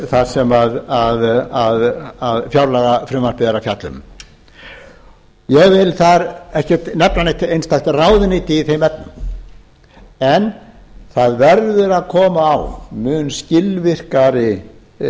það sem fjárlagafrumvarpið er að fjalla um ég vil þar ekki nefna neitt einstakt ráðuneyti í þeim efnum en það verður að koma á mun skilvirkari